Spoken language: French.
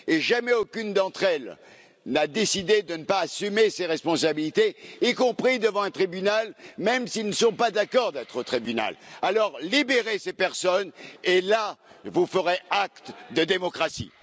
Jamais aucune d'entre elles n'a décidé de ne pas assumer ses responsabilités, y compris devant un tribunal, même si elles ne sont pas d'accord d'être au tribunal. Libérez ces personnes, et alors vous ferez acte de démocratie.